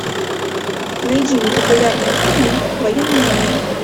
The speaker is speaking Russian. найди мне популярные фильмы в военном жанре